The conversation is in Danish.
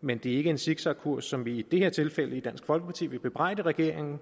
men det er ikke en zigzagkurs som vi i det her tilfælde i dansk folkeparti vil bebrejde regeringen